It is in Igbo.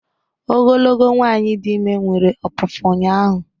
ogologo nwanyị dị ime nwere ọpụpụ ụnyahụ